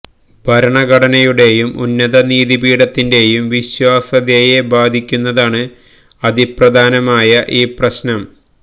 ഭരണഘടനയുടെയും ഉന്നത നീതി പീഠത്തിന്റെയും വിശ്വാസ്യതയെ ബാധിക്കുന്നതാണ് അതിപ്രധാനമായ ഈ പ്രശ്നം